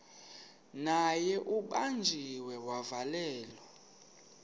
naye ubanjiwe wavalelwa